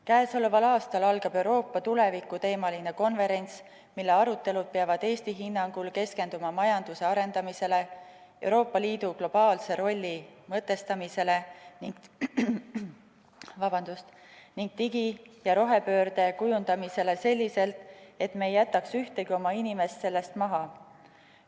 Käesoleval aastal algab Euroopa tuleviku teemaline konverents, mille arutelud peavad Eesti hinnangul keskenduma majanduse arendamisele, Euroopa Liidu globaalse rolli mõtestamisele ning digi- ja rohepöörde kujundamisele selliselt, et me ei jätaks ühtegi oma inimest sellest maha.